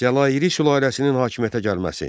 Cəlaliri sülaləsinin hakimiyyətə gəlməsi.